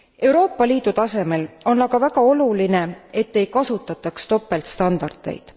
Euroopa Liidu tasemel on aga väga oluline, et ei kasutataks topeltstandardeid.